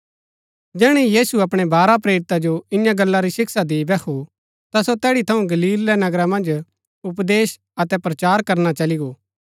जैहणै यीशु अपणै बारह प्रेरिता जो ईयां गल्ला री शिक्षा दी बैहू ता सो तैड़ी थऊँ गलील रै नगरा मन्ज उपदेश अतै प्रचार करना चली गो